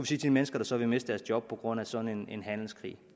til de mennesker der så ville miste deres job på grund af sådan en handelskrig